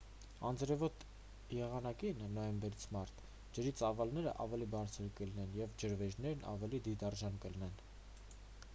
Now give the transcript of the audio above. անձրևոտ եղանակին նոյեմբերից մարտ ջրի ծավալները ավելի բարձր կլինեն և ջրվեժներն ավելի դիտարժան կլինեն։